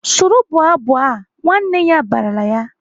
"Soro bụọ abụ a!" Nwanne ya barala ya!